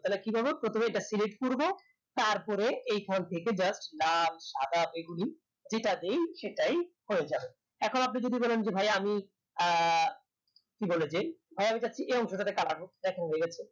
তাহলে কি করবো প্রথমে আমরা এটা select করবো তারপরে এই ঘর থেকে just লাল সাদা যেটা দেই সেটাই হয়ে যাবে এখন আপনি যদি বলেন যে ভাই আমি আহ কি বলে যে ধরেন এই অংশ তাতে colour হউক দেখুন হয়ে